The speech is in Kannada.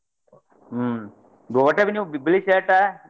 ಹ್ಮ್ ನೀವ್ .